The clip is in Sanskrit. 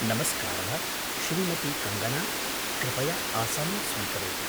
नमस्कारः, श्रीमती कङ्गना! कृपया आसनं स्वीकरोतु।।